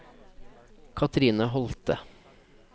Kathrine Holthe